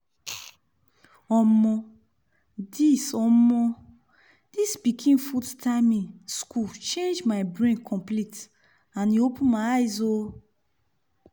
omo! this omo! this pikin food timing school change my brain complete and e open my eyes oh